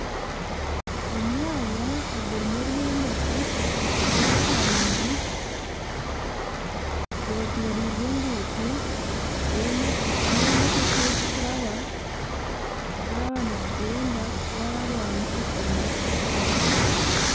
Omwanya ogurimu ebyombeko ebya kanyina gwetoroirwe enguuto ei ahu emotoka ei zikuraba zaaba nizigyenda kutwara abantu omu maka gaabo.